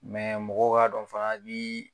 mɔgɔw ka dɔn fana i biii.